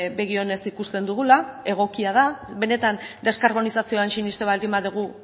begi onez ikusten dugula egokia da benetan deskarbonizazioan sinesten baldin badugu